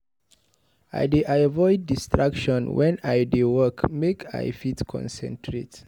I dey avoid distractions wen I dey work make I fit concentrate.